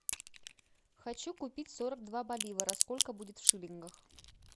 хочу купить сорок два боливара сколько будет в шиллингах